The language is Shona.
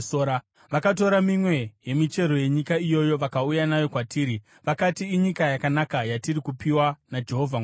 Vakatora mimwe yemichero yenyika iyoyo, vakauya nayo kwatiri, vakati, “Inyika yakanaka yatiri kupiwa naJehovha Mwari wedu.”